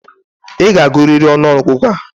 I ga-agụrịrị ọnụọgụgụ a!